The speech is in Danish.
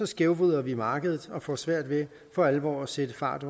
skævvrider vi markedet og får svært ved for alvor at sætte fart